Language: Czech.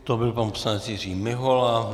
To byl pan poslanec Jiří Mihola.